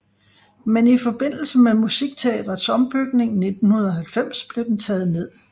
Men i forbindelse med Musikteatrets ombygning i 1990 blev den taget ned